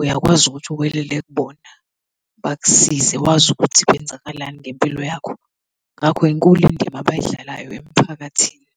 uyakwazi ukuthi uwelele kubona, bakusize, wazi ukuthi kwenzakalani ngempilo yakho, ngakho inkulu indima abadlalayo emiphakathini.